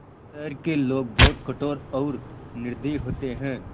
शहर के लोग बहुत कठोर और निर्दयी होते हैं